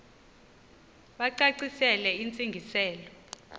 bacacisele intsi ngiselo